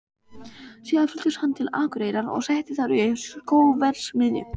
Síðar fluttist hann til Akureyrar og setti þar upp skóverksmiðju.